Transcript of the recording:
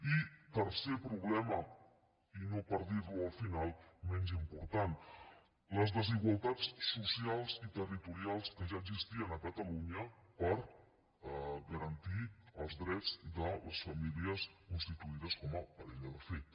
i tercer problema i no per dir lo al final menys important les igualtats socials i territorials que ja existien a catalunya per garantir els drets de les famílies constituïdes com a parella de fet